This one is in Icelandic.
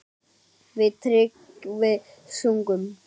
Við Tryggvi sungum